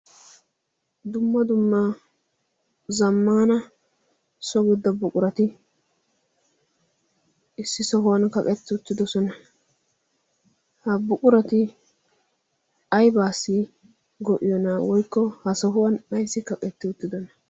dumma dumma zammana sogudda buqurati issi sohuwan kaqetti uttidosona. ha buqurati aibaasi go'iyoonaa woykko ha sohuwan ayssi kaqetti uttidona?